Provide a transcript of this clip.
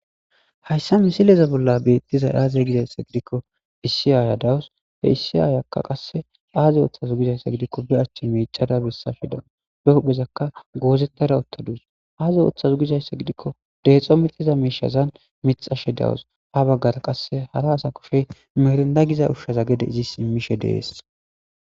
Haysa misileza bolla betishe dizays aze gizaysa gidikon issi Aya dawusi, he issi ayaka qase aazi oothaze gizaysa gidikon be ache micada besashe deusi, be huphezaka goozetada utadusi.azi oothize gizaysa gidikon deexo mixiza mishaza mixashe de'awus. Ha bagara qase hara asa kushey mirinda giza ushaza gede izis imishe Des.